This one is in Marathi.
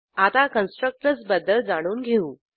आता कन्स्ट्रक्टर्स बद्दल जाणून घेऊ